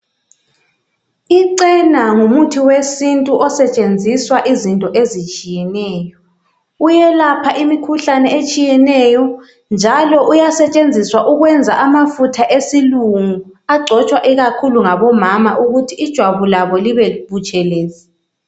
Ichena ngumuthi wesintu osetshenziswa izinto ezitshiyeneyo uyelapha imikhuhlane etshiyeneyo njalo uyasetshenziswa ukwenza amafutha esilungu agcojwa ikakhulu ngabomama ukuthi ijwabu labo libe butshelezi.